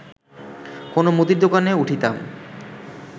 কোনো মুদীর দোকানে উঠিতাম